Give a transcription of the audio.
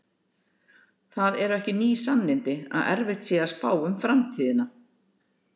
Það eru ekki ný sannindi að erfitt sé að spá um framtíðina.